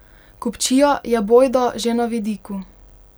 Kupčija je bojda že na vidiku.